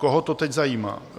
Koho to teď zajímá?